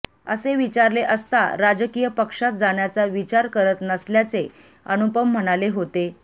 असे विचारले असता राजकीय पक्षात जाण्याचा विचार करत नसल्याचे अनुपम म्हणाले होते